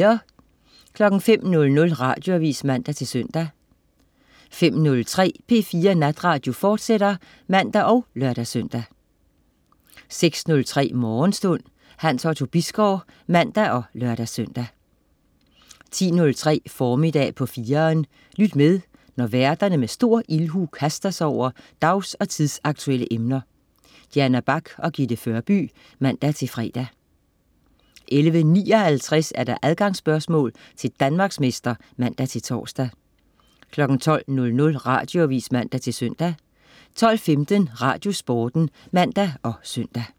05.00 Radioavis (man-søn) 05.03 P4 Natradio, fortsat (man og lør-søn) 06.03 Morgenstund. Hans Otto Bisgaard (man og lør-søn) 10.03 Formiddag på 4'eren. Lyt med, når værterne med stor ildhu kaster sig over dags- og tidsaktuelle emner. Diana Bach og Gitte Førby (man-fre) 11.59 Adgangsspørgsmål til Danmarksmester (man-tors) 12.00 Radioavis (man-søn) 12.15 Radiosporten (man og søn)